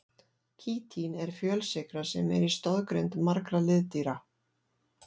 Kítín er fjölsykra sem er í stoðgrind margra liðdýra.